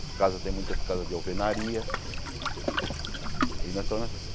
As casas, tem muitas casas de alvenaria.